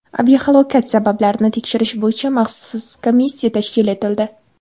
Aviahalokat sabablarini tekshirish bo‘yicha maxsus komissiya tashkil etildi.